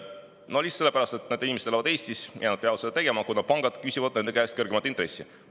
Seda lihtsalt sellepärast, et nad elavad Eestis ja peavad seda tegema, kuna pangad küsivad nende käest kõrgemat intressi.